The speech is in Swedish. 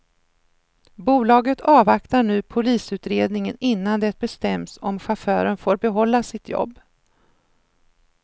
Bolaget avvaktar nu polisutredningen innan det bestäms om chauffören får behålla sitt jobb.